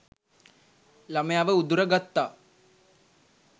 ළමයව උදුර ගත්තා